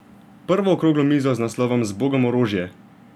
Prvo okroglo mizo z naslovom Zbogom orožje?